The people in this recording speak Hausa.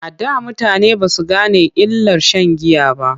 A da mutane ba su gane illar sha n giya ba.